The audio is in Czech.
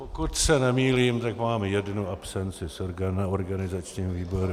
Pokud se nemýlím, tak mám jednu absenci na organizačním výboru.